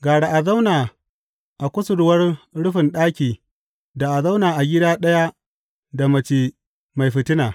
Gara a zauna a kusurwar rufin ɗaki da a zauna a gida ɗaya da mace mai fitina.